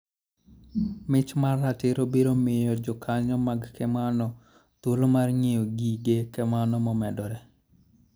Mich mar ratiro biro miyo jokanyo mag kemano thuolo mar ng'iewo gige kemano momedore.